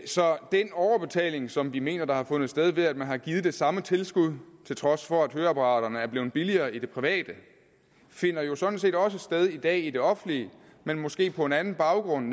så den overbetaling som de mener der har fundet sted ved at man har givet det samme tilskud til trods for at høreapparaterne er blevet billigere i det private finder jo sådan set også sted i dag i det offentlige men måske på en anden baggrund